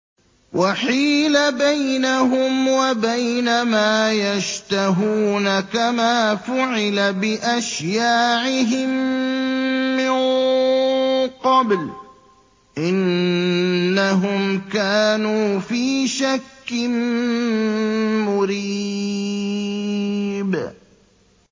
وَحِيلَ بَيْنَهُمْ وَبَيْنَ مَا يَشْتَهُونَ كَمَا فُعِلَ بِأَشْيَاعِهِم مِّن قَبْلُ ۚ إِنَّهُمْ كَانُوا فِي شَكٍّ مُّرِيبٍ